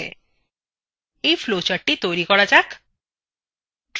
এই flowchartটি তৈরী করা যাক